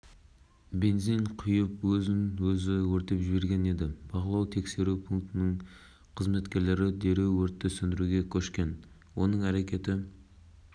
естеріңізге салып өтсек кеше сағат бас прокуратура ғимаратының бақылау-өткізу пунктінің алдында әйел адам сыртқы киімін шешіп